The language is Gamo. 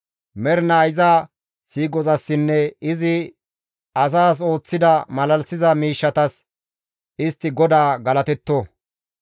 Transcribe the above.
Mernaa iza siiqozassinne izi asas ooththida malalisiza miishshatas istti GODAA galatetto.